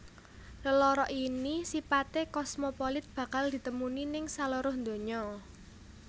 Lelara ini sipaté kosmopolit bakal ditemuni ning saluruh donya